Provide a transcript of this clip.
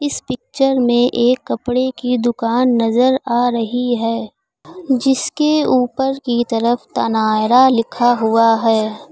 इस पिक्चर में एक कपड़े की दुकान नजर आ रही है जिसके ऊपर की तरफ तनायरा लिखा हुआ है।